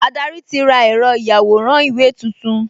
Adarí ti ra ẹ̀rọ ìyàwòrán-ìwé tuntun